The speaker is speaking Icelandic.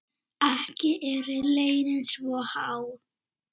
Ekki eru launin svo há.